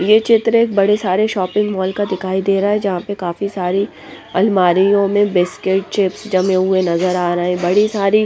ये चित्र एक बड़े सारे शॉपिंग मॉल का दिखाई दे रहा हैं जहाँ पर काफी सारी अलमारि यों में बिस्किट चिप्स जमे हुए नजर आ रहे हैं बड़ी सारी --